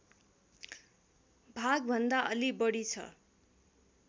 भागभन्दा अलि बढी छ